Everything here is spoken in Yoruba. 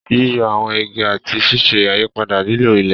Yíyọ àwọn igi àti ṣíṣe àyípadà lílo ilẹ̀.